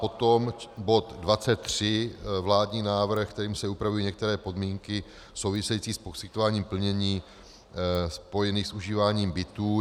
Potom bod 23, vládní návrh, kterým se upravují některé podmínky související s poskytováním plnění spojených s užíváním bytů.